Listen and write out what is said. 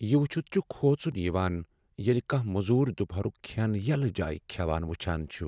یہ وچھِتھ چھُ کھوژُن یوان ییٚلہ کھاہ موزور دُپہرُک کھین یلہٕ جایِہ کھیوان وچھان چھِ۔